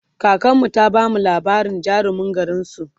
kakanmu ta bamu labarin jarumin garinsu